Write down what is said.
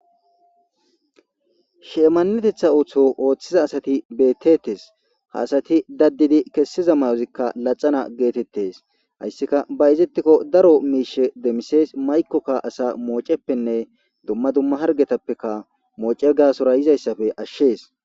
Shimanetteththa oththo oththiza asati bettetes ha asati daddidi kessiza maayozika laaxana gettetes hayssika bayzetikko daaro mishsha demmises mayikoka asa mocceppe dumma dumma harggetappeka moocce gassora yiizayssappe ashshes.